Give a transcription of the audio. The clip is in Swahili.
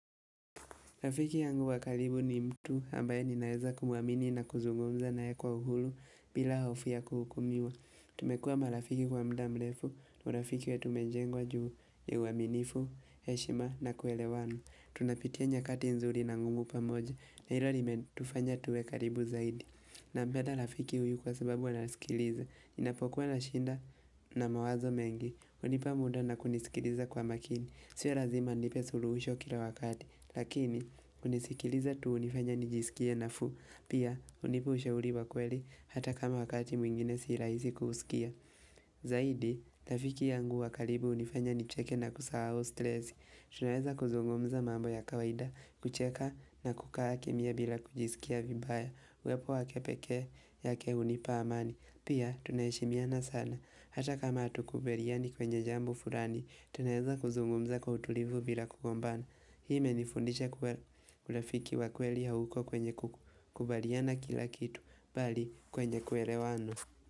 Rafiki yangu wa karibu ni mtu ambaye ninaweza kumwamini na kuzungumza naye kwa uhuru bila hofu ya kuhukumiwa. Tumekuwa marafiki kwa muda mrefu, na urafiki wetu umejengwa juu ya uaminifu, heshima na kuelewana. Tunapitia nyakati nzuri na ngumu pamoja na hilo limetufanya tuwe karibu zaidi. Nampeda rafiki huyu kwa sababu anasikiliza. Ninapokuwa na shida na mawazo mengi. Hunipa muda na kunisikiliza kwa makini. Sia lazima anipe suluhisho kila wakati Lakini kunisikiliza tu hunifanya nijisikie nafuu Pia hunipa ushauri wa kweli hata kama wakati mwingine sii rahisi kuusikia Zaidi, rafiki yangu wa karibu hunifanya nicheke na kusahau stresi Tunaweza kuzungumza mambo ya kawaida kucheka na kukaa kimya bila kujisikia vibaya Uwepo wake pekee yake hunipa amani Pia tunaheshimiana sana Hata kama hatukubaliani kwenye jambo fulani Tunaweza kuzungumza kwa utulivu bila kugombana Hii imenifundisha kuwa urafiki wa kweli hauko kwenye kukubaliana kila kitu Bali kwenye kuelewana.